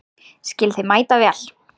Skil þig mætavel.